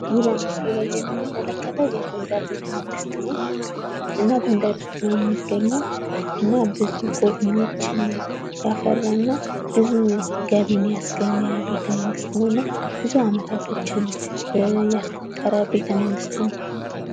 ይህ በምስሉ ላይ የምንመለከተው የጎንደር ቤተመንግስት ነው እና ጎንደር ውስጥ ነው የሚገኘው እና ብዙ ጎብኝዎችን ያፈራ ና ብዙ ገቢን ያስገኝ ቤተ መንግስት ነው እና ብዙ አመታቶችን ያስቆጠረ ቤተመንግስት ነው ።